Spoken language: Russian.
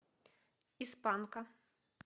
из панка